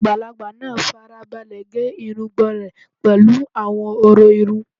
Àgbàlagbà náà fara balẹ̀ gé irùngbọ̀n rẹ̀ pẹ̀lú àwọn ọ̀rọ̀ irun